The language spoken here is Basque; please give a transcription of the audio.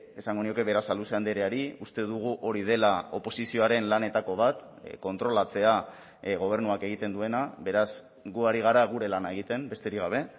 esango nioke berasaluze andreari uste dugu hori dela oposizioaren lanetako bat kontrolatzea gobernuak egiten duena beraz gu ari gara gure lana egiten besterik gabe